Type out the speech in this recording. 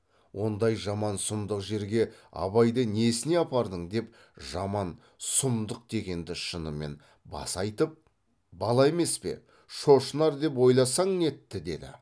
ондай жаман сұмдық жерге абайды несіне апардың деп жаман сұмдық дегенді шынымен баса айтып бала емес пе шошынар деп ойласаң нетті деді